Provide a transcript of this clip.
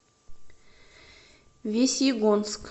весьегонск